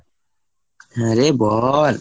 হ্যাঁ রে বল।